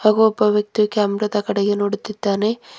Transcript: ಹಾಗೂ ಒಬ್ಬ ವ್ಯಕ್ತಿ ಕ್ಯಾಮ್ರ ದ ಕಡೆಗೆ ನೋಡುತ್ತಿದ್ದಾನೆ.